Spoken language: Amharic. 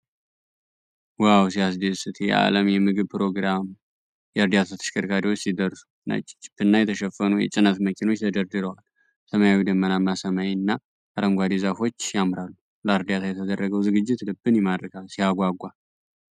ዋው ሲያስደስት! የዓለም የምግብ ፕሮግራም የእርዳታ ተሽከርካሪዎች ሲደርሱ። ነጭ ጂፕና የተሸፈኑ የጭነት መኪኖች ተደርድረዋል። ሰማያዊው ደመናማ ሰማይና አረንጓዴው ዛፎች ያምራሉ። ለእርዳታ የተደረገው ዝግጅት ልብን ይማርካል። ሲያጓጓ!